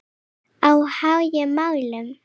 Á háum hælum.